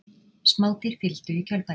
smádýr fylgdu í kjölfarið